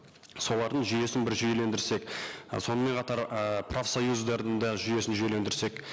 солардың жүйесін бір жүйелендірсек і сонымен қатар ы профсоюздардың да жүйесін жүйелендірсек